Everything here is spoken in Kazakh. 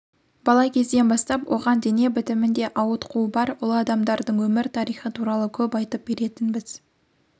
бала кезден бастап оған дене бітімінде ауытқуы бар ұлы адамдардың өмір тарихы туралы көп айтып беретінбіз